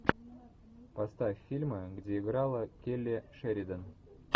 поставь фильмы где играла келли шеридан